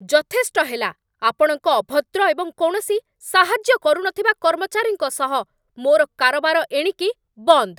ଯଥେଷ୍ଟ ହେଲା, ଆପଣଙ୍କ ଅଭଦ୍ର ଏବଂ କୌଣସି ସାହାଯ୍ୟ କରୁନଥିବା କର୍ମଚାରୀଙ୍କ ସହ ମୋର କାରବାର ଏଣିକି ବନ୍ଦ୍।